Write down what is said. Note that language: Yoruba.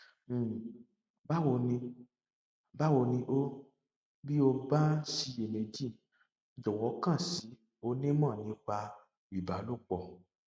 um báwo ni báwo ni o bí o bá ń ṣiyèméjì jọwọ kàn sí onímọ nípa ìbálòpọ